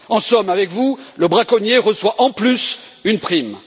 En somme, avec vous, le braconnier reçoit en plus une prime.